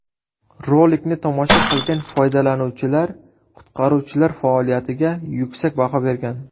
Rolikni tomosha qilgan foydalanuvchilar qutqaruvchilar faoliyatiga yuksak baho bergan.